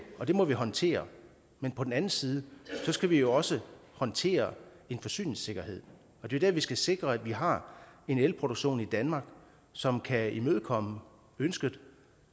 og det må vi håndtere men på den anden side skal vi også håndtere en forsyningssikkerhed og det er der vi skal sikre at vi har en elproduktion i danmark som kan imødekomme ønsket